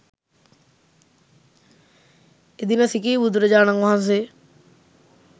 එදින සිඛී බුදුරජාණන් වහන්සේ